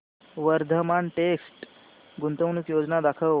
Vardhman text गुंतवणूक योजना दाखव